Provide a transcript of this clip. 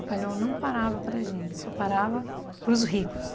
Papai Noel não parava para gente, só parava para os ricos.